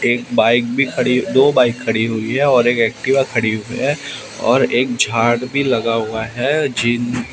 एक बाइक भी खड़ी दो बाइक खड़ी हुई है और एक एक्टिवा खड़ी हुई है और एक झाड़ भी लगा हुआ है जिन--